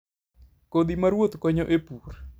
Kodhi ma ruoth konyo e pur.